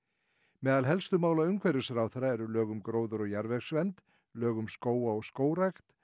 meðal helstu mála umhverfisráðherra eru lög um gróður og jarðvegsvernd lög um skóga og skógrækt